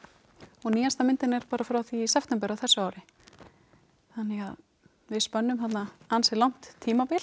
og nýjasta myndin er frá því í september á þessu ári þannig að við spönnum þarna ansi langt tímabil